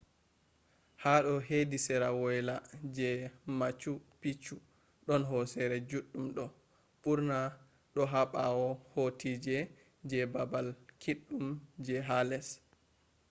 hado hedi sera woyla je machu picchu don hosere juɗɗum do ɓurna do ha ɓawo hotoji je baabal kiɗɗum je ha les